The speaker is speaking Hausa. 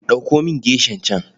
Ɗauko min geshan can.